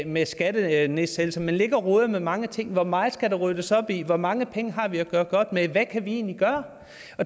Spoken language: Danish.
med skattenedsættelser man ligger og roder med mange ting hvor meget skal der ryddes op i hvor mange penge har vi at gøre godt med hvad kan vi egentlig gøre